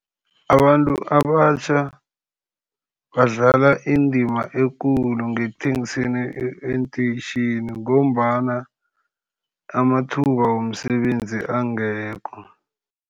Abantu abatjha badlala indima ekulu ngekuthengiseni eenteyitjhini, ngombana amathuba womsebenzi angekho.